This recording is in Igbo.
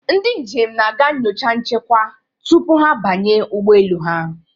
Ndị njem na-aga nyocha nchekwa tupu ha abanye ụgbọ elu ha.